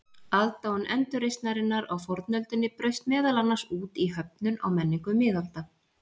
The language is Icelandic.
Aðdáun endurreisnarinnar á fornöldinni braust meðal annars út í höfnun á menningu miðalda.